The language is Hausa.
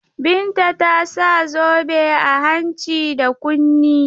Binta ta sa zobe a hanci da kunni.